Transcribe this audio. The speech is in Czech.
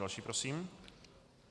Další prosím.